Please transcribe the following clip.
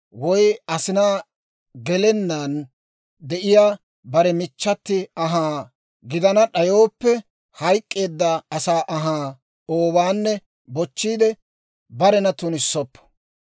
woy asinaa gelennaan, de'iyaa bare michchati anhaa gidana d'ayooppe, hayk'k'eedda asaa anhaa oowaanne bochchiide, barena tunissoppo.